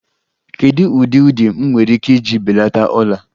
Kedu ụdị ụdị m nwere ike iji belata ọla?